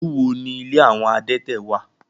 Ìlú wo ní ilé àwọn adẹ́tẹ̀ wà?